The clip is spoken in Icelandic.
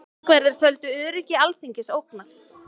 Þingverðir töldu öryggi Alþingis ógnað